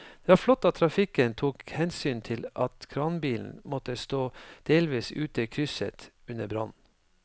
Det var flott at trafikken tok hensyn til at kranbilen måtte stå delvis ute i krysset under brannen.